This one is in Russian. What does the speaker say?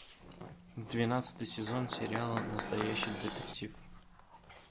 двенадцатый сезон сериала настоящий детектив